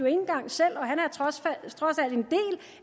engang selv og han